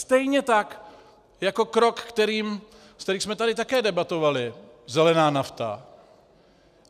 Stejně tak jako krok, o kterém jsme tady také debatovali, zelená nafta.